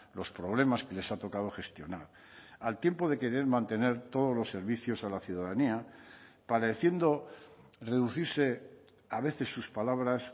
los problemas que les ha tocado gestionar al tiempo de querer mantener todos los servicios a la ciudadanía pareciendo reducirse a veces sus palabras